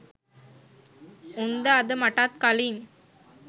උන්ද අද මටත් කලින්